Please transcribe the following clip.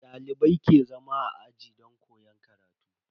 Dalibai ke zama a aji don koyon karatu.